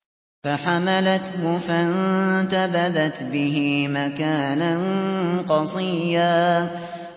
۞ فَحَمَلَتْهُ فَانتَبَذَتْ بِهِ مَكَانًا قَصِيًّا